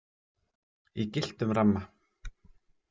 Í gylltum ramma.